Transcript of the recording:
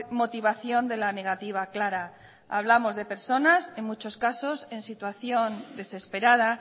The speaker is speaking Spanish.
motivación de la negativa clara hablamos de personas en muchos casos en situación desesperada